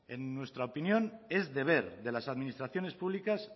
en nuestra opinión es deber de las administraciones públicas